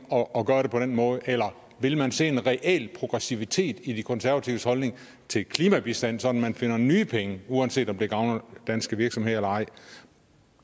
at gøre det på den måde eller vil man se en reel progressivitet i de konservatives holdning til klimabistand sådan at man finder nye penge uanset om det gavner danske virksomheder eller ej